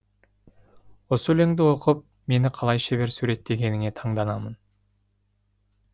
осы өлеңді оқып мені қалай шебер суреттегеніне таңдандым